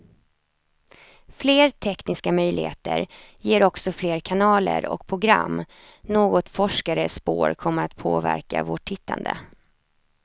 Fler tekniska möjligheter ger också fler kanaler och program, något forskare spår kommer att påverka vårt tittande.